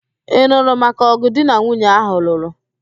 Ị nụrụ maka ọ̀gụ̀ di na nwunye áhụ̀ lụrụ?